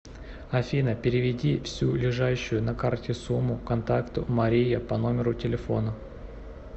афина переведи всю лежащую на карте сумму контакту мария по номеру телефона